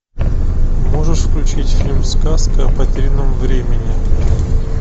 можешь включить фильм сказка о потерянном времени